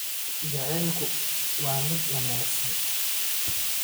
Jacaylku waa mid wanaagsan.